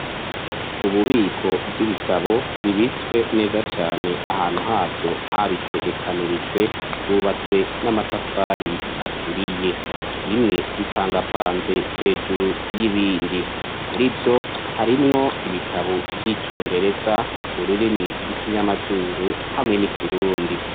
Ububiko bw'ibitabo bibitswe neza cane ahantu havyo habitegekanirijwe. Hubatswe n'amatafari aturiye. Bimwe bipangapanze hejuru y'ibindi. Murivyo harimwo ibitabo vy'icongereza, ururimi rw'ikinyamazuru hamwe n'ikirundi.